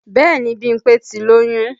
Bẹ́ẹ̀ni Bímpé ti lóyún